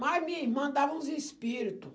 Mas minha irmã dava uns espírito.